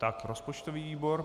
Tak, rozpočtový výbor.